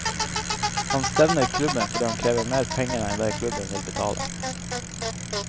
Han stevner klubben fordi han krever mer penger enn det klubben vil betale.